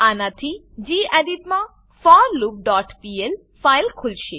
આનાથી ગેડિટ માં forloopપીએલ ફાઈલ ખુલશે